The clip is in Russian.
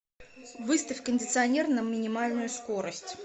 выставь кондиционер на минимальную скорость